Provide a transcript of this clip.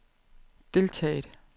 deltaget